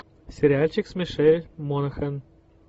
сериальчик с мишель монахэн